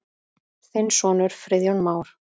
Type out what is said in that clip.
Þinn sonur, Friðjón Már.